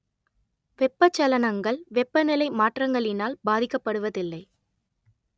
வெப்பச் சலனங்கள் வெப்ப நிலை மாற்றங்களினால் பாதிக்கப்படுவதில்லை